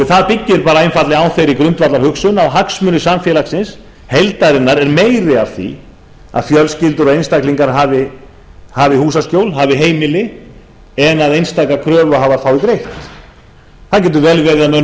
það byggir bara einfaldlega á þeirri grundvallarhugsun að hagsmunir samfélagsins heildarinnar er meiri af því að fjölskyldur og einstaklingar hafi húsaskjól hafi heimili en að einstaka kröfuhafar fái greitt það getur vel verið að mönnum